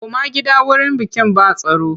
Koma gida wurin bikin ba tsaro!